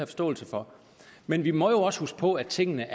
forståelse for men vi må jo altså også huske på at tingene